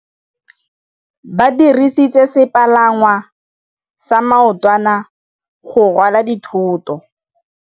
Ba dirisitse sepalangwasa maotwana go rwala dithôtô.